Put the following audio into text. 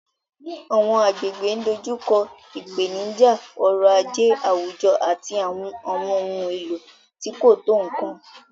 Àwọn agbègbè ń dojú kọ ìpèníjà ọrọ̀ ajé àwùjọ àti àwọn ohun èlò tí kò tó nkan.